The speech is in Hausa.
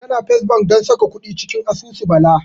Tana First Bank don saka kuɗi cikin asusu Bala.